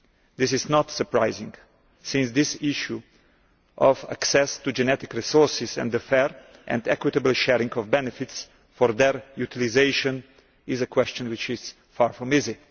This is not surprising, since this issue of access to genetic resources and the fair and equitable sharing of benefits for their utilisation is a question which is far from easy.